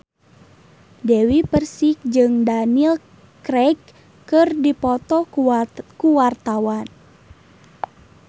Dewi Persik jeung Daniel Craig keur dipoto ku wartawan